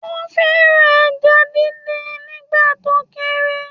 Ó fẹ́ràn ẹja díndín nígbà tó kéré